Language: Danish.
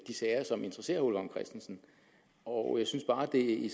sager som interesserer herre ole vagn christensen og jeg synes bare at det i